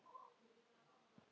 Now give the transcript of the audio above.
Þau standa eftir ein.